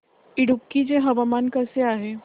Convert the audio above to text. इडुक्की चे हवामान कसे आहे